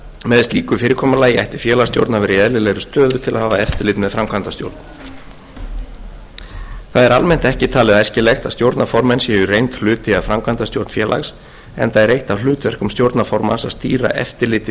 með slíku fyrirkomulagi ætti félagsstjórn að vera í eðlilegri stöðu til að hafa eftirlit með framkvæmdastjórn það er almennt ekki talið æskilegt að stjórnarformenn séu í reynd hluti af framkvæmdastjórn félags enda er eitt af hlutverkum stjórnarformanns að stýra eftirliti